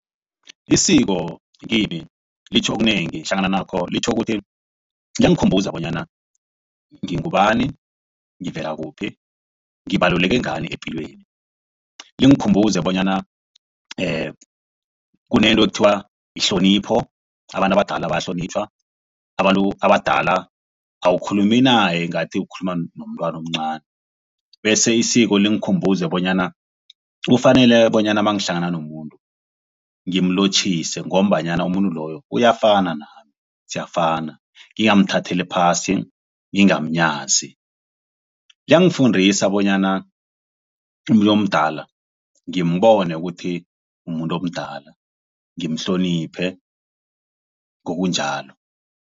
Isiko ngimi litjho okunengi hlangana nakho litjho ukuthi liyangikhumbuza bonyana ngingubani ngivela kuphi ngibaluleke ngani epilweni. Lingikhumbuze bonyana kunento ekuthiwa yihlonipho abantu abadala bayahlonitjhwa. Abantu abadala awukhulumi naye ngathi ukhuluma nomntwana omncani. Bese isiko lingikhumbuze bonyana kufanele bonyana mangihlangana nomuntu ngimlotjhise ngombanyana umuntu loyo uyafana nami siyafana ngingamthatheli phasi ngingamnyazi. Liyangifudisa bonyana umuntu omdala ngimbone ukuthi mumuntu omdala ngimhloniphe ngokunjalo.